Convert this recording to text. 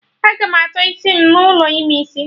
Agam atọ isi m n'ụlọ ime isi